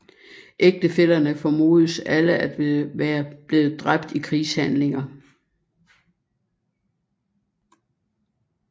Ægtefællerne formodes alle at være blevet dræbt i krigshandlinger